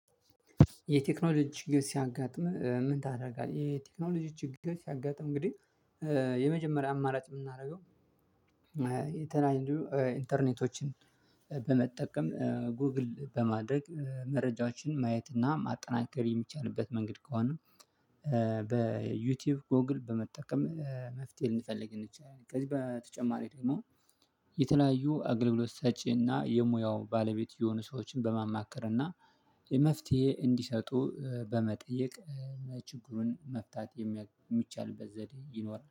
የቴክኖሎጂ ችግር ሲያጋጥም ምን ታደርጋለህ? የቴክኖሎጂ ችግር ሲያጋጥም እንግዲህ የመጀመሪያ አማራጭ የምናደርገው። የተለያዩ ኢንተርኔቶችን በመጠቀም ጎግል በማድረግ መረጃዎችን ማየት እና ማጠናከር የሚቻልበት መንገድ ከሆነ። በዩቲዩብ ጎግል በመጠቀም መፍትሄ ልንፈልግ እንችላለን። ከዚህ በተጨማሪ ደግሞ የተለያዩ አገልግሎት ሰጪና የሙያው ባለቤት የሆኑ ሰዎችን በማማከርና መፍትሄ እንዲሰጡ በመጠየቅ ችግሩን መፍታት የሚቻልበት ዘዴ ይኖራል